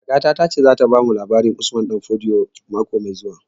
Kakata ta ce za ta bamu labarin Usman Danfodio mako mai zuwa